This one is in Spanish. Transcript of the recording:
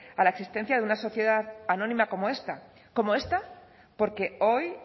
a la existencia de una sociedad anónima como esta como esta porque hoy